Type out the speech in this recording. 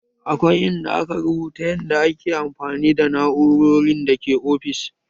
Akwai in da aka rubuta yanda za ayi amfani da na'urorin da ke ofis